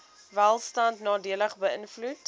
welstand nadelig beïnvloed